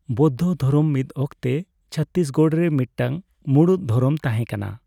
ᱵᱳᱫᱽᱫᱷᱚᱫᱷᱨᱚᱢ ᱢᱤᱫ ᱚᱠᱛᱮ ᱪᱷᱚᱛᱛᱤᱥᱜᱚᱲ ᱨᱮ ᱢᱤᱫᱴᱟᱝ ᱢᱩᱲᱩᱫ ᱫᱷᱚᱨᱚᱢ ᱛᱟᱦᱮᱸ ᱠᱟᱱᱟ ᱾